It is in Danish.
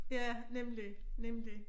Ja nemlig nemlig